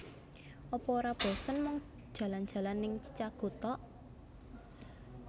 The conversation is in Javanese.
Apa ora bosen mung jalan jalan ning Chichago tok?